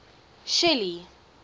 shelly